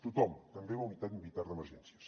tothom també la unitat militar d’emergències